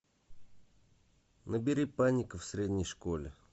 набери паника в средней школе